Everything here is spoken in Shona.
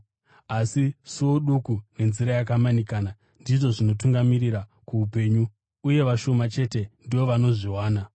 Asi suo duku nenzira yakamanikana ndizvo zvinotungamirira kuupenyu, uye vashoma chete, ndivo vanozviwana.